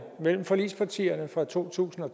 mellem forligspartierne fra to tusind og